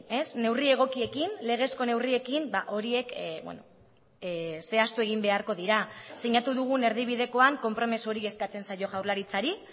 ez neurri egokiekin legezko neurriekin horiek zehaztu egin beharko dira sinatu dugun erdibidekoan konpromiso hori eskatzen zaio jaurlaritzari